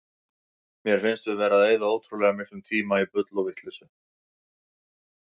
Mér finnst við vera að eyða ótrúlega miklum tíma í bull og vitleysu.